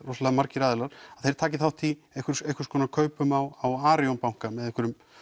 margir aðilar þeir taki þátt í einhvers einhvers konar kaupum á Arion banka með einhverjum